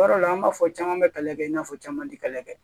Yɔrɔ la an b'a fɔ caman be kɛlɛ kɛ i n'a fɔ caman te kɛlɛ kɛ